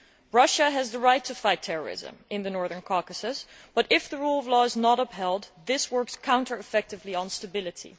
Russia has the right to fight terrorism in the Northern Caucasus, but if the rule of law is not upheld this has a counter productive effect on stability.